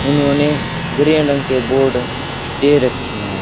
उन्होंने ग्रीन रंग के बोर्ड दे रखी हैं।